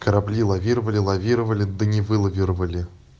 корабли лавировали лавировали да не вылавировали